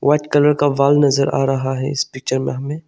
White colour का wall नजर आ रहा है इस पिक्चर में हमें।